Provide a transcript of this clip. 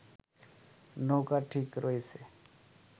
নৌকা ঠিক রয়েছে